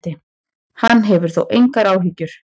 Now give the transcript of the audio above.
Hann hefur þó engar áhyggjur.